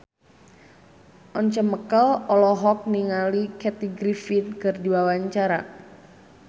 Once Mekel olohok ningali Kathy Griffin keur diwawancara